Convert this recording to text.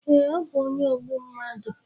Ee ọ bu onye ogbu mmadụ